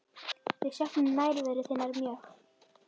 Við söknum nærveru þinnar mjög.